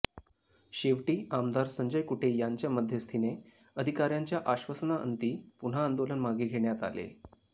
शेवटी आमदार संजय कुटे यांच्या मध्यस्थीने अधिकाऱ्यांच्या आश्वासनाअंती पुन्हा आंदोलन मागे घेण्यात आले